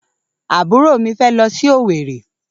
Àbúrò mi fé lọ sí Owerri